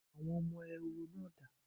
Àwọn ọmọ Ehoro náà dà?